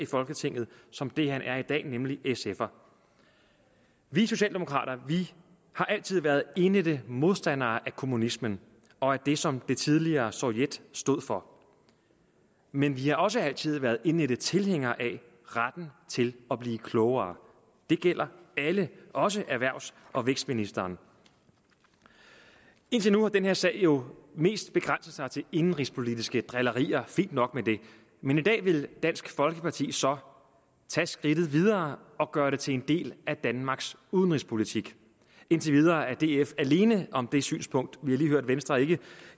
folketinget som det han er i dag nemlig sfer vi socialdemokrater har altid været indædte modstandere af kommunismen og det som det tidligere soviet stod for men vi har også altid været indædte tilhængere af retten til at blive klogere det gælder alle også erhvervs og vækstministeren indtil nu har den her sag jo mest begrænset sig til indenrigspolitiske drillerier fint nok med det men i dag vil dansk folkeparti så tage skridtet videre og gøre det til en del af danmarks udenrigspolitik indtil videre er df alene om det synspunkt vi har lige hørt at venstre